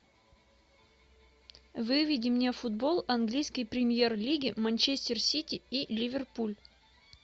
выведи мне футбол английской премьер лиги манчестер сити и ливерпуль